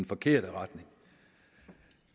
forkerte retning